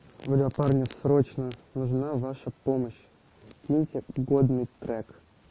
бля парни срочно нужна ваша помощь киньте годный трек